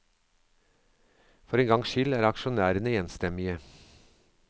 For en gang skyld er aksjonærene enstemmige.